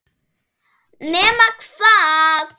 Nema hvað!?!